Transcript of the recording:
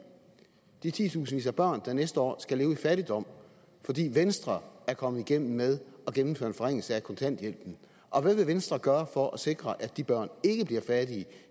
de titusindvis af børn der næste år skal leve i fattigdom fordi venstre er kommet igennem med at gennemføre en forringelse af kontanthjælpen og hvad vil venstre gøre for at sikre at de børn ikke bliver fattige